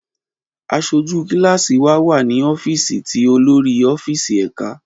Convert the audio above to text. Aṣoju kilasi wa wa ni ọfíìsì ti olori ọfíìsì ẹka.